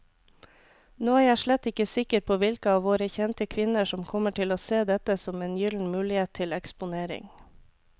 Nå er jeg slett ikke sikker på hvilke av våre kjente kvinner som kommer til å se dette som en gyllen mulighet til eksponering.